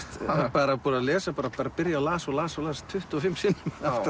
bara las bara las og las og las tuttugu og fimm sinnum